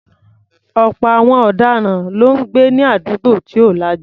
Ọ̀pọ̀ àwọn ọ̀daràn ló ń gbé ní àdúgbò tí ò lajú.